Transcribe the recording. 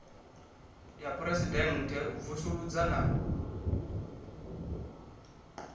ya phuresidennde u vusuludza na